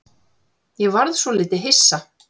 Ég varð svolítið hissa.